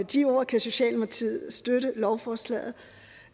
de ord kan socialdemokratiet støtte lovforslaget